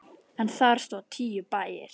En þar stóðu tíu bæir.